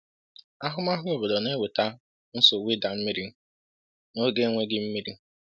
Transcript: “Ahụmahụ obodo na-eweta nsogbu ịda mmiri n’oge enweghị mmiri.”